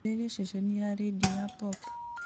ambĩrĩria ceceni ya rĩndiũ ya pop